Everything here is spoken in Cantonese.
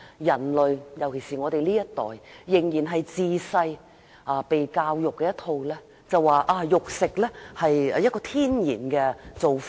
人類，尤其是我們這一代，從小獲得的教育是食肉是天然的做法。